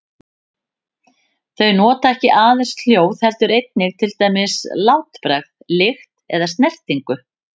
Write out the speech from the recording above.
Þau nota ekki aðeins hljóð heldur einnig til dæmis látbragð, lykt eða snertingu.